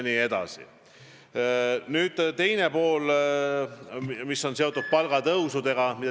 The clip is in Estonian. Nüüd küsimuse teine pool, mis oli seotud palgatõusudega.